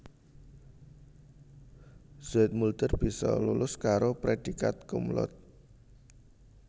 Zoetmulder bisa lulus karo prédhikat cum laude